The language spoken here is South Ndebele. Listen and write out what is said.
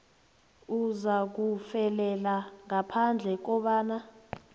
uzakufelela ngaphandle kobana